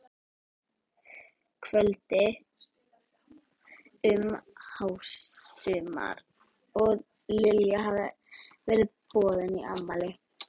kvöldi um hásumar og Lilja hafði verið boðin í afmæli.